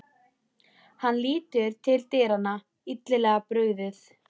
Hann lítur til dyranna, illilega brugðið.